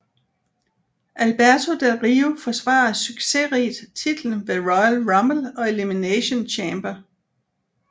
Alberto Del Rio forsvarede succesrigt titlen ved Royal Rumble og Elimination Chamber